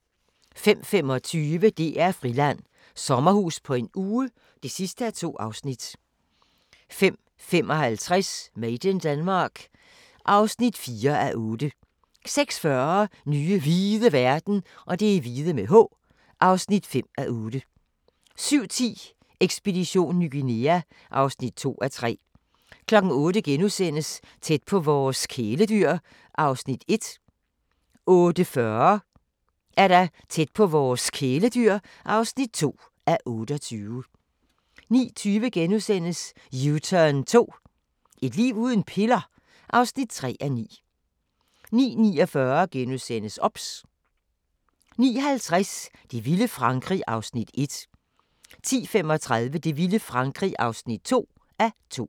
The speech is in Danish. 05:25: DR-Friland: Sommerhus på en uge (2:2) 05:55: Made in Denmark (4:8) 06:40: Nye hvide verden (5:8) 07:10: Ekspedition Ny Guinea (2:3) 08:00: Tæt på vores kæledyr (1:28)* 08:40: Tæt på vores kæledyr (2:28) 09:20: U-turn 2 – et liv uden piller? (3:9)* 09:49: OBS * 09:50: Det vilde Frankrig (1:2) 10:35: Det vilde Frankrig (2:2)